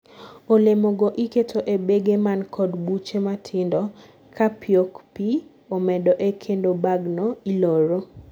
olemo go iketo e bege man kod buche matindo kapiok pi omedoe kendo bag no iloro